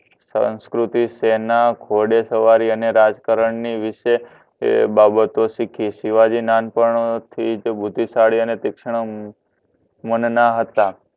સાંસ્કૃતિક શેના ઘોડે સવારી અને રાજકારણ ની વિશે તે બાબતો શીખી શિવાજી નાનપણથી જ બુદ્ધિશાળી અને મન ના હતા